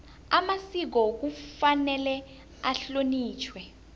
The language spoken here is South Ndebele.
amasiko kufanele ahlonitjhwe